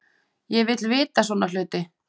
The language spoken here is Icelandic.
Ég vil vita svona hluti.